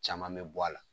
Caman bɛ bɔ a la